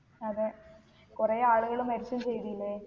അതെ കൊറേ ആളുകൾ മരിക്കും ചെയ്തീലെ